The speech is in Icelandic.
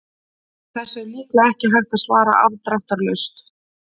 Þessu er líklega ekki hægt að svara afdráttarlaust.